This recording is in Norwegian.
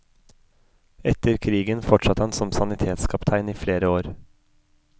Etter krigen fortsatte han som sanitetskaptein i flere år.